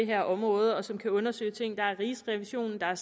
her område og som kan undersøge ting der er rigsrevisionen der